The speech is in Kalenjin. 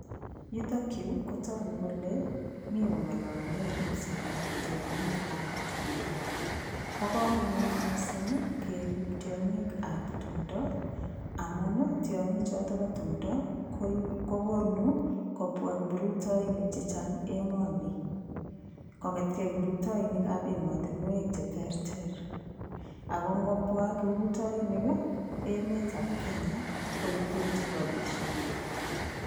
Yutokyu kotoku kole mi kong'olole ripsetab tiong'ikab tumdo Bo komonut mising' kerip tiong'ikab tumdo amun tiong'ichoto bo tumdo kokonu kobwa kiprutoinik chechang' emoni kong'etkei kiprutoinikab emotinwek cheterter ako ngopwa kiprutoinik emetab Kenya koibwech robishek